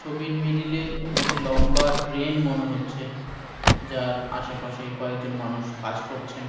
ছবির মিডিল -এ একটি লম্বা ড্রেন মনে হচ্ছেযার আশেপাশে কয়েকজন মানুষ কাজ করছেন।